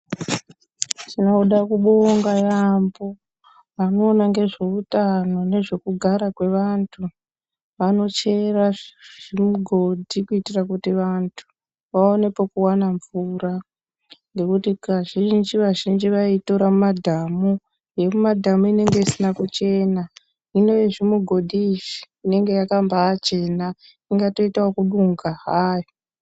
Tinoda kubonga yaamho vanoona ngezveutano nezvekugara kwevantu, vanochera zvigodhi kuti vantu vawane pekuwana mvura, ngekuti kazhinji, vazhinji vaitora yemumadhamu inenge isina kuchena, uyezve zvimugodhi izvi inenge yakambachena, inga tiota kubonga hai.